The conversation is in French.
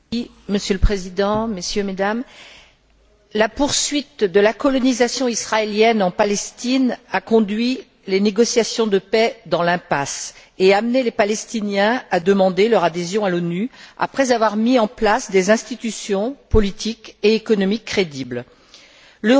Monsieur le Président, Messieurs, Mesdames, la poursuite de la colonisation israélienne en Palestine a conduit les négociations de paix dans l'impasse et amené les Palestiniens à demander, après avoir mis en place des institutions politiques et économiques crédibles, leur adhésion à l'ONU.